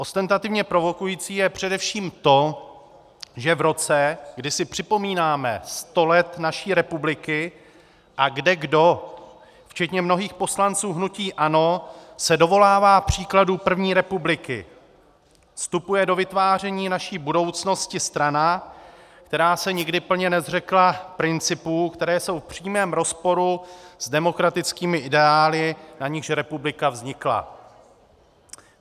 Ostentativně provokující je především to, že v roce, kdy si připomínáme sto let naší republiky a kdekdo včetně mnohých poslanců hnutí ANO se dovolává příkladu první republiky, vstupuje do vytváření naší budoucnosti strana, která se nikdy plně nezřekla principů, které jsou v přímém rozporu s demokratickými ideály, na nichž republika vznikla.